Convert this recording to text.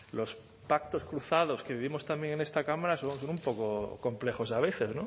los pactos cruzados que vivimos también en esta cámara son un poco complejos a veces